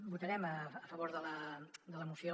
votarem a favor de la moció